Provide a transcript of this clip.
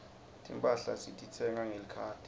timphahla sititsenga ngelikhadi